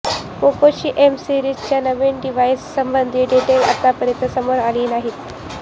पोकोची M सीरीजच्या नवीन device संबंधी डेटल आतापर्यंत समोर आली नाहीत